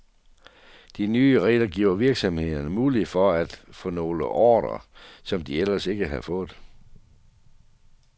De nye regler giver virksomhederne mulighed for at få nogle ordrer, som de ellers ikke havde fået.